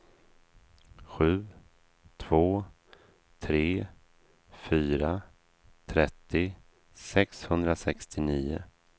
sju två tre fyra trettio sexhundrasextionio